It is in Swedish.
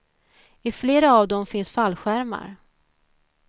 I flera av dem finns fallskärmar.